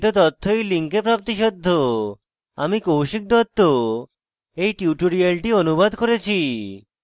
আমি কৌশিক দত্ত এই টিউটোরিয়ালটি অনুবাদ করেছি